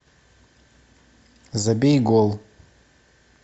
забей гол